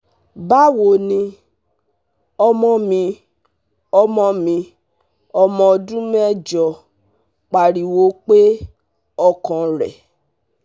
bawo ni, ọmọ mi ọmọ mi ọmọ ọdun mẹjọ pariwo pe ọkan rẹ